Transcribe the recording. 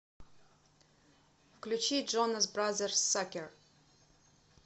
включи джонас бразерс сакер